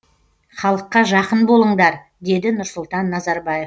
халыққа жақын болыңдар деді нұрсұлтан назарбаев